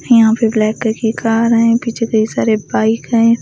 यहां पे ब्लैक ककी की कार हैं पीछे कई सारे बाइक हैं।